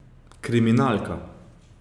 Kriminalka.